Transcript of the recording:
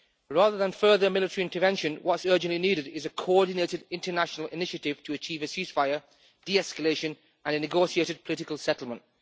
Rather than further military intervention, what is urgently needed is a coordinated international initiative to achieve a ceasefire, de-escalation and a negotiated political settlement.